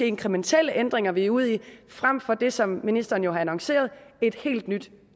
inkrementelle ændringer vi er ude i frem for det som ministeren har annonceret et helt nyt